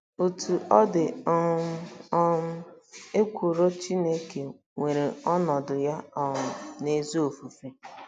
Otú ọ dị um, um ekworo Chineke nwere ọnọdụ ya um n'ezi ofufe.